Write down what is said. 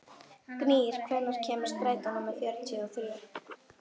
Gnýr, hvenær kemur strætó númer fjörutíu og þrjú?